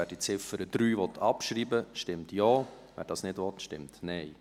Wer die Ziffer 3 abschreiben will, stimmt Ja, wer dies nicht will, stimmt Nein.